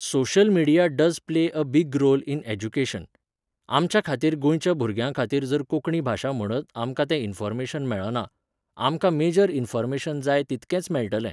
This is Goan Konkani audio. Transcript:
Social media does play a big role in education. आमच्या खातीर गोंयच्या भुरग्यां खातीर जर कोंकणी भाशा म्हणत आमकां तें इनफॉर्मेशन मेळना. आमकां मेजर इनफॉर्मेशन जाय तितकेंच मेळटलें.